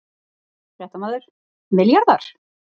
Fréttamaður: Milljarðar?